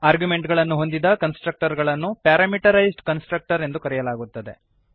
ಆರ್ಗ್ಯುಮೆಂಟುಗಳನ್ನು ಹೊಂದಿದ ಕನ್ಸ್ಟ್ರಕ್ಟರನ್ನು parameterised constructor ಎಂದು ಕರೆಯಲಾಗುತ್ತದೆ